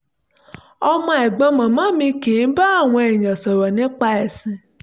ọmọ ẹ̀gbọ́n màmá mi kì í bá àwọn èèyàn sọ̀rọ̀ nípa ẹ̀sìn